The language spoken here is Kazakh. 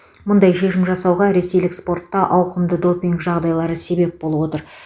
мұндай шешім жасауға ресейлік спортта ауқымды допинг жағдайлары себеп болып отыр